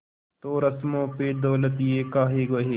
तो रस्मों पे दौलत ये काहे बहे